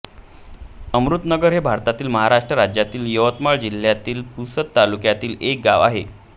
अमृतनगर हे भारतातील महाराष्ट्र राज्यातील यवतमाळ जिल्ह्यातील पुसद तालुक्यातील एक गाव आहे